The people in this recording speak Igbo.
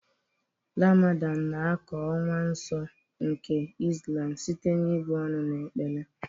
Ramadan na ákà ọnwa nsọ nke Islam site na ị̀bụ ọnụ na ekpere.